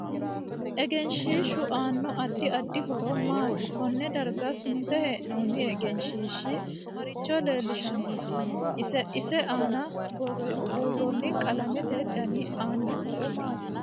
Egenshiishu aano adid addi horo maati konne darga sunte heenooni egenahiishi maricho leelishanno ise aana buuroni qalamete dani aano horo maati